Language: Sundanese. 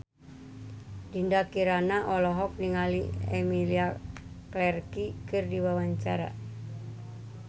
Dinda Kirana olohok ningali Emilia Clarke keur diwawancara